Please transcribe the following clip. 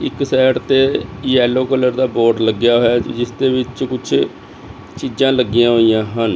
ਇੱਕ ਸਾਈਡ ਤੇ yellow colour ਦਾ ਬੋਰਡ ਲੱਗਿਆ ਹੋਯਾ ਹੈ ਜਿਸਦੇ ਵਿੱਚ ਕੁੱਛ ਚੀਜਾਂ ਲੱਗੀਆਂ ਹੋਈਆਂ ਹਨ।